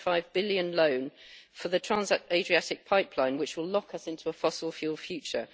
1.5 billion loan for the Trans Adriatic Pipeline, which will lock us into a fossil fuel future.